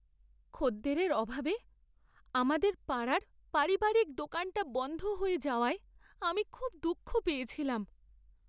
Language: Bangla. খদ্দেরের অভাবে আমাদের পাড়ার পারিবারিক দোকানটা বন্ধ হয়ে যাওয়ায় আমি খুব দুঃখ পেয়েছিলাম।